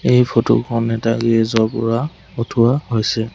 এই ফটো খন এটা গেৰেজ ৰ পৰা উঠোৱা হৈছে।